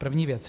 První věc.